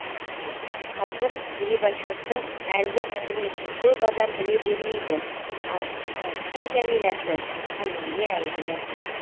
қазір грибачевтің әлгі әңгімесін көп адам біле бермейді ал шыңғыстың жәмиласы әлемге әйгілі